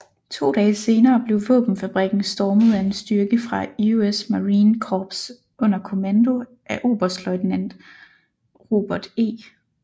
To dage senere blev våbenfabrikken stormet af en styrke fra US Marine Corps under kommando af oberstløjtnant Robert E